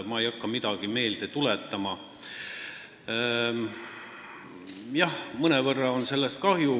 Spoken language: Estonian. Ma ei hakka midagi meelde tuletama, aga jah, mõnevõrra on sellest kahju.